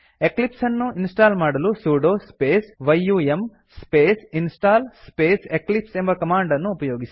Eclipse ಅನ್ನು install ಮಾಡಲು sudo space yum space install space Eclipse ಎಂಬ ಕಮಾಂಡ್ ಅನ್ನು ಉಪಯೋಗಿಸಿ